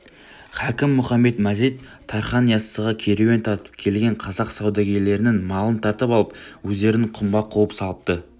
хакім мұхамед-мазид тархан яссыға керуен тартып келген қазақ саудагерлерінің малын тартып алып өздерін құмға қуып салыпты